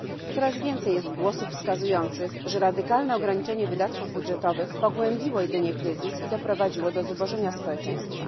Coraz więcej jest głosów wskazujących, że radykalne ograniczenie wydatków budżetowych pogłębiło jedynie kryzys i doprowadziło do zubożenia społeczeństwa.